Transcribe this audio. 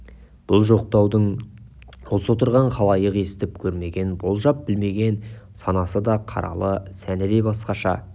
бұл жоқтаудың осы отырған халайық естіп көрмеген болжап білмеген санасы да қаралы сәні де басқаша